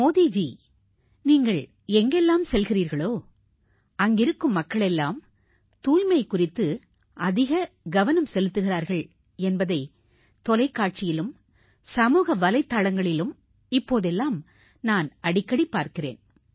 மோடிஜி நீங்கள் எங்கெல்லாம் செல்கிறீர்களோ அங்கிருக்கும் மக்கள் எல்லாம் தூய்மை குறித்து அதிக கவனம் செலுத்துகிறார்கள் என்பதை தொலைக்காட்சியிலும் சமூக வலைத்தளங்களிலும் இப்போதெல்லாம் நான் அடிக்கடி பார்க்கிறேன்